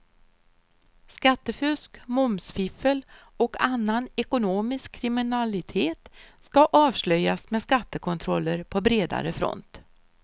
Skattefusk, momsfiffel och annan ekonomisk kriminalitet ska avslöjas med skattekontroller på bredare front.